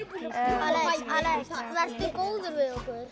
Alex vertu góður við okkur